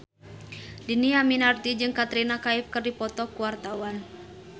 Dhini Aminarti jeung Katrina Kaif keur dipoto ku wartawan